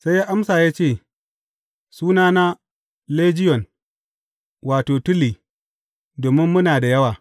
Sai ya amsa ya ce, Sunana Lejiyon, wato, Tuli,’ domin muna da yawa.